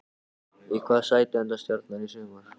Í hvaða sæti endar Stjarnan í sumar?